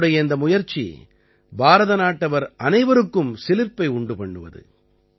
அவருடைய இந்த முயற்சி பாரத நாட்டவர் அனைவருக்கும் சிலிர்ப்பை உண்டு பண்ணுவது